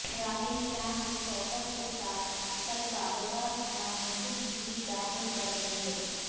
راہل شان و شوکت کے ساتھ کل کاغذات نامزد گی داخل کریں گے